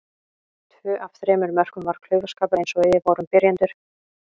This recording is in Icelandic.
Tvö af þremur mörkum var klaufaskapur eins og við vorum byrjendur.